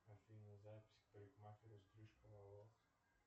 афина запись к парикмахеру стрижка волос